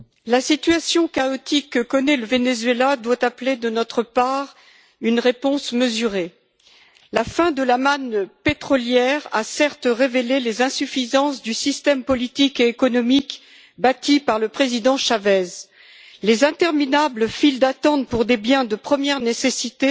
Monsieur le Président, Madame le Commissaire, la situation chaotique que connaît le Venezuela doit appeler de notre part une réponse mesurée. La fin de la manne pétrolière a certes révélé les insuffisances du système politique et économique bâti par le Président Chávez. Les interminables files d'attente pour des biens de première nécessité